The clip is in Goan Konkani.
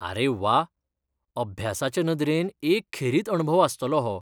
आरे व्वा! अभ्यासाचे नदरेन एक खेरीत अणभव आसतलो हो.